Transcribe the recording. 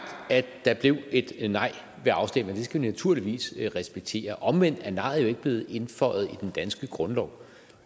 at der blev et et nej ved afstemningen skal vi naturligvis respektere omvendt er nejet jo ikke blevet indføjet i den danske grundlov